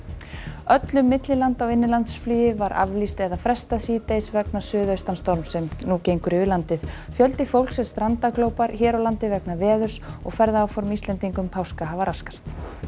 öllu millilanda og innanlandsflugi var aflýst eða frestað síðdegis vegna suðaustanstorms sem gengur yfir landið fjöldi fólks er strandaglópar hér á landi vegna veðurs og ferðaáform Íslendinga um páska hafa raskast